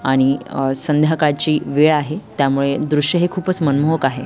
आणि अ संध्याकाळची वेळ आहे त्यामुळे दृश्य हे खूपच मनमोहक आहे.